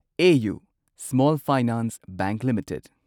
AU small finance bank limited